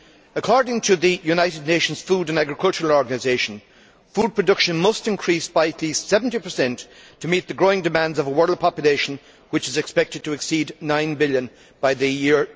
According to the United Nations Food and Agricultural Organisation, food production must increase by at least 70 to meet the growing demands of a world population which is expected to exceed 9 billion by the year